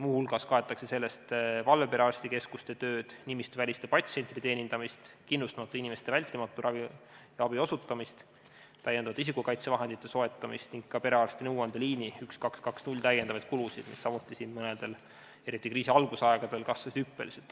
Muu hulgas kaetakse sellest valveperearstikeskuste tööd, nimistuväliste patsientide teenindamist, kindlustamata inimestele vältimatu ravi ja abi abi osutamist, isikukaitsevahendite juurdesoetamist ning ka perearsti nõuandeliini 1220 lisakulusid, mis eriti kriisi algusaegadel samuti hüppeliselt kasvasid.